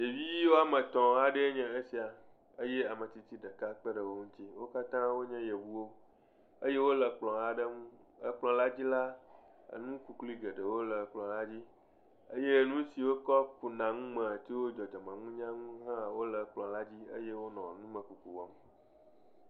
ɖevo woame etɔ̃ aɖee nye esia eye ame tsitsi ɖeka kpe ɖe wo ŋuti. Wo katã wonye Yevuwo eye wole kplɔ̃ aɖe ŋu. Ekplɔ̃la dzi la nu kuklui geɖewo le kplɔ̃la dzi eye wotsɔ kuna nu tso dzɔdzɔmenunya ŋu hã wole kplɔ̃la dzi eye wonɔ numekuku wɔm.